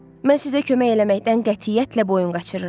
Mən sizə kömək eləməkdən qətiyyətlə boyun qaçırıram.